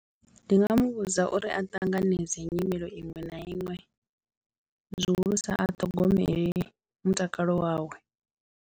Ndi nga muvhudza uri a ṱanganedze nyimelo iṅwe na iṅwe zwihulusa a ṱhogomele mutakalo wawe.